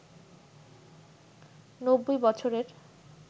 ৯০ বছরের